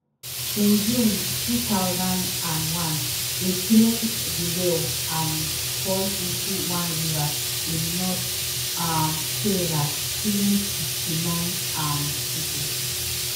In june two thousand and one a train derail and fall into one river in north um kerela killing fifty-nine um pipo